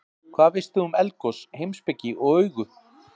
Hvað veist þú um eldgos, heimspeki og augu?